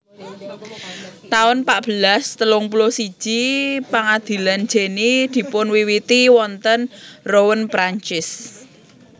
taun patbelas telung puluh siji Pangadilan Jenny dipunwiwiti wonten Rouen Prancis